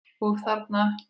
Og þarna?